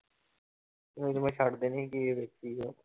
ਨਹੀਂ ਤੇ ਮੈਂ ਛੱਡ ਦੇਣੀ ਉਹ